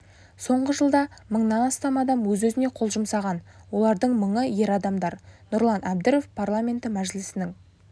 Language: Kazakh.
соңғы жылда мыңнан астам адам өз-өзіне қол жұмсаған олардың мыңы ер адамдар нұрлан әбдіров парламенті мәжілісінің